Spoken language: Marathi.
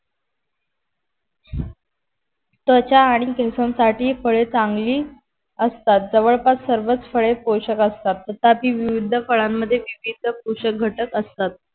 त्वचा आणि केसांसाठी फळे चांगली असतात जवळपास सर्वच फळे पोशक असतात तथापि विविध फळाणमध्ये विविध पोषाकघटक असतात